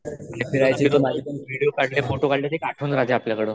आणि फिरायचे विडिओ काढले फोटो काढले तर एक आठवण राहते आपल्या कड.